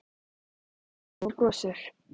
Málfríður lítur á mig og brosir.